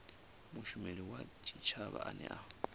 mushumeli wa tshitshavha ane a